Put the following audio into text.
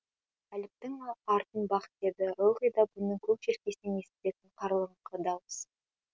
әліптің артын бақ деді ылғи да бұның көк желкесінен естілетін қарлығыңқы дауыс